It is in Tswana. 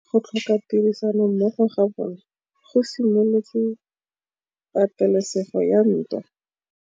Go tlhoka tirsanommogo ga bone go simolotse patêlêsêgô ya ntwa.